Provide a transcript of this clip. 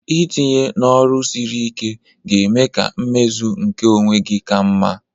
Itinye n'ọrụ siri ike ga-eme ka mmezu nke onwe gị ka mma